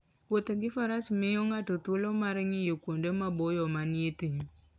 Wuoth gi faras miyo ng'ato thuolo mar ng'iyo kuonde maboyo manie thim.